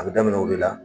A bɛ daminɛ o de la